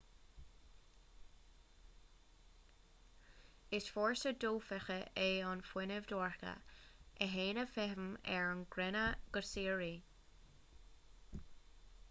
is fórsa dofheicthe é an fuinneamh dorcha a théann i bhfeidhm ar an gcruinne go síoraí